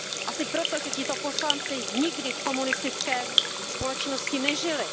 Asi proto, že tito poslanci nikdy v komunistické společnosti nežili.